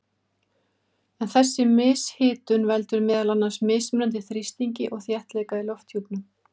En þessi mishitun veldur meðal annars mismunandi þrýstingi og þéttleika í lofthjúpnum.